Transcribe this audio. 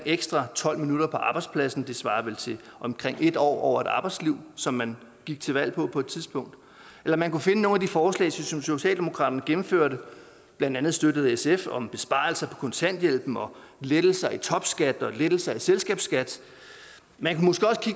ekstra tolv minutter på arbejdspladsen det svarer vel til omkring en år over et arbejdsliv som man gik til valg på på et tidspunkt eller man kunne finde nogle af de forslag som socialdemokratiet gennemførte blandt andet støttet af sf om besparelser på kontanthjælpen og lettelser i topskat og lettelser i selskabsskat man